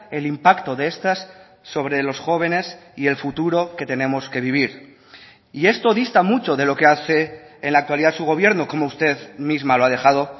el impacto de estas sobre los jóvenes y el futuro que tenemos que vivir y esto dista mucho de lo que hace en la actualidad su gobierno como usted misma lo ha dejado